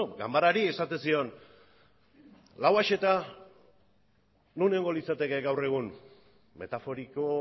ganbarari esaten zion lauaxeta non egongo litzateke gaur egun metaforiko